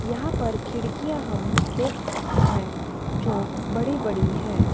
यहां पर खिड़कियां हम देख सकते हैं जो बड़ी बड़ी हैं।